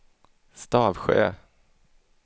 Stavsjö